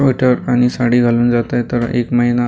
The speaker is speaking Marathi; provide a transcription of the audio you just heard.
आणि साडी घालून जात आहे तर एक महिना--